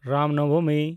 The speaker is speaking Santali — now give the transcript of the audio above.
ᱨᱟᱢ ᱱᱚᱵᱚᱢᱤ